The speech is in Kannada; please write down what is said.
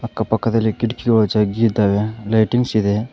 ಅಕ್ಕ ಪಕ್ಕದಲ್ಲಿ ಕಿಟಕಿಗಳು ಜಗ್ಗಿ ಇದ್ದಾವೆ ಲೈಟಿಂಗ್ಸ್ ಇದೆ.